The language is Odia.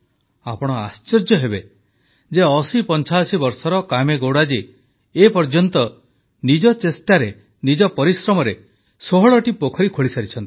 ଆପଣ ଆଶ୍ଚର୍ଯ୍ୟ ହେବେ ଯେ 8085 ବର୍ଷର କାମେଗୌଡ଼ା ଜୀ ଏ ପର୍ଯ୍ୟନ୍ତ ନିଜ ଚେଷ୍ଟାରେ ନିଜର ପରିଶ୍ରମରେ 16ଟି ପୋଖରୀ ଖୋଳିସାରିଛନ୍ତି